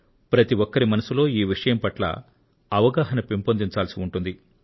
ప్రతి ఒక్కరి మనస్సులో ఈ విషయం పట్ల అవగాహన పెంపొందించాల్సి ఉంటుంది